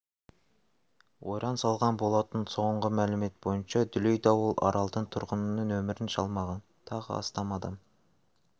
ойран салған болатын соңғы мәлімет бойынша дүлей дауыл аралдың тұрғынының өмірін жалмаған тағы астам адам